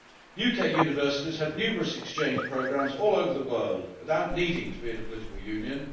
United Kingdom universities have numerous exchange programmes all over the world without needing to be in a political union.